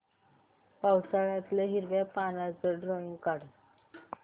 पावसाळ्यातलं हिरव्या पानाचं ड्रॉइंग काढ